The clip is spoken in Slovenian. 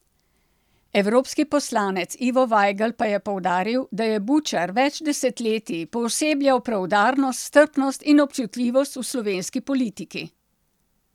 Evropski poslanec Ivo Vajgl pa je poudaril, da je Bučar več desetletij poosebljal preudarnost, strpnost in občutljivost v slovenski politiki.